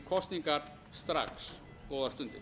kosningar strax góðar stundir